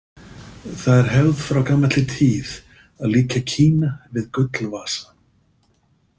Það er hefð frá gamalli tíð að líkja Kína við Gullvasa.